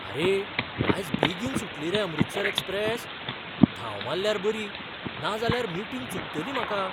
आरे, आज बेगीन सुटली रे अमृतसर एक्सप्रेस? धांव मारल्यार बरी, नाजाल्यार मीटिंग चुकतली म्हाका!